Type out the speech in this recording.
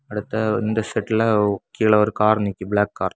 அடுத்த இந்த செட்டில கீழே ஒரு கார் நிக்கி பிளாக் கார் .